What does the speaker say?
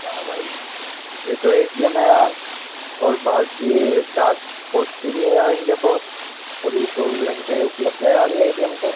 वाह भाई ये तो ए_टी_एम है यार और भारतीय डाक पोस्ट भी है यार इंडिया पोस्ट और ये चौबीस घंटे उपलब्ध है यार ये एटीएम तो।